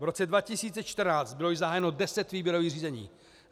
V roce 2014 bylo již zahájeno 10 výběrových řízení.